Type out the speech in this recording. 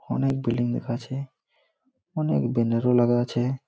অনেক বিল্ডিং দেখাচ্ছে। অনেক ব্যানার ও লাগা আছে।